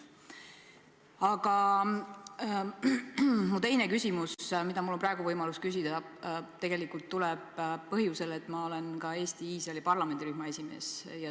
Aga mu teine küsimus, mida mul on praegu võimalus küsida, tegelikult tuleb põhjusel, et ma olen ka Eesti-Iisraeli parlamendirühma esimees.